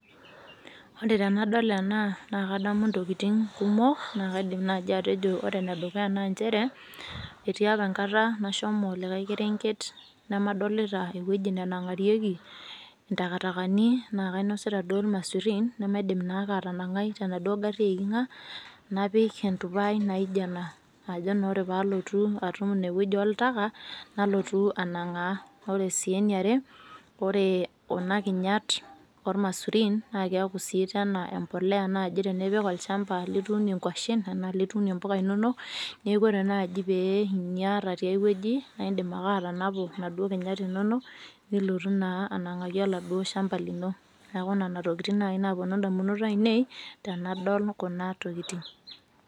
Ore tenadol enaa naa kadamu ntokitin kumok, naa kaidim naji atejo, ore ene dukuya naa nchere, itii apa enkata nashomo likae kerenket lamadolita eweji nanang'arieki ntakatakani, naa kainosita duo irmasurin namaidim naa duake atanang'ai tenaduo gari eiking'a napik entupai najio enaa. Ajo naa ore pee alotu atum ineweji oltaka nalotu anang'aa. Ore sii eniare, ore kuna kinyat omasurin naa keeku sii naji emboloya tenipik ochamba litunie nkuashen enaa litunie mpuka inono neeku ore naji peyie inya ata tiaweji naa idim ake atanapu naduo kinyat inonok nilotu naa anang'aki oladuo shamba lino. Neeku nena tokitin naji napuonu idamunot ainei tenadol kuna tokitin.